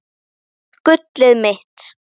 Gullið mitt!